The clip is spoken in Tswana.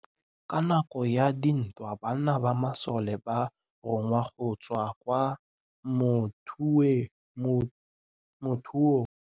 Ka nakô ya dintwa banna ba masole ba rongwa go tswa kwa mothêô.